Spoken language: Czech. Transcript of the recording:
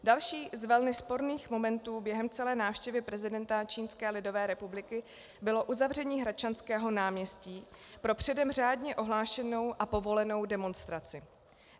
Další z velmi sporných momentů během celé návštěvy prezidenta Čínské lidové republiky bylo uzavření Hradčanského náměstí pro předem řádně ohlášenou a povolenou demonstraci.